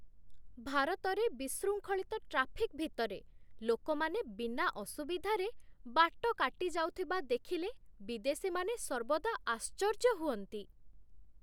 ଭାରତରେ ବିଶୃଙ୍ଖଳିତ ଟ୍ରାଫିକ୍ ଭିତରେ ଲୋକମାନେ ବିନା ଅସୁବିଧାରେ ବାଟ କାଟି ଯାଉଥିବା ଦେଖିଲେ ବିଦେଶୀ ମାନେ ସର୍ବଦା ଆଶ୍ଚର୍ଯ୍ୟ ହୁଅନ୍ତି।